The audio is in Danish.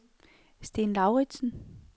Sten Lauritzen